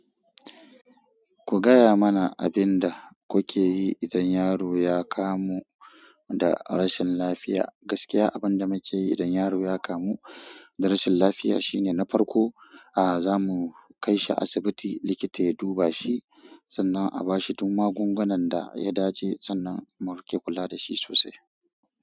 Ku gaya mana abin da kuke yi idan yaro ya kamu da rashin lafiya. Gaskiya abin da muke yi idan yaro ya kamu da rashin lafiya shine na farko, a'a zamu kai shi asibiti likita ya duba shi sannan a bashi duk magungunan da ya dace sannan mu riƙe kula da shi sosai.